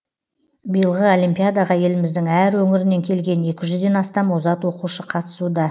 биылғы олимпиадаға еліміздің әр өңірінен келген екі жүзден астам озат оқушы қатысуда